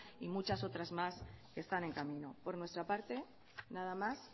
y muchas otras más que están en camino por nuestra parte nada más